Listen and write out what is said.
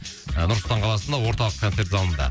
нұр сұлтан қаласында орталық концерт залында